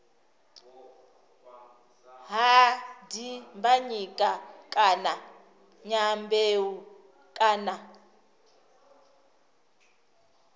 ha dimbanyika kana dyambeu kana